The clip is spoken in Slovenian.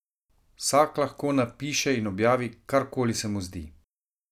Vsak lahko napiše in objavi, karkoli se mu zdi.